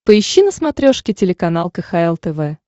поищи на смотрешке телеканал кхл тв